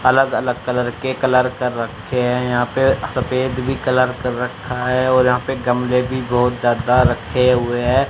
अलग अलग कलर के कलर कर रखे हैं यहां पे सफेद भी कलर कर रखा है और यहां पर गमले भी बहुत ज्यादा रखे हुए हैं।